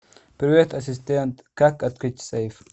привет ассистент как открыть сейф